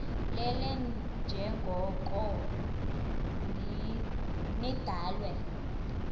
lelele njengoko nidalwe